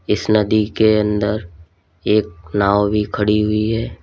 इस नदी के अंदर एक नाव भी खड़ी हुई है।